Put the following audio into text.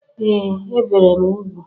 Ee! Ebere m ugwu.